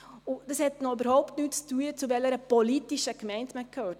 Dies hat noch überhaupt nichts damit zu tun, zu welcher politischen Gemeinde man gehört.